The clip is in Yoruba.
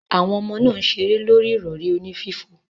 Awon omo naa n sere lori irori oni fifo.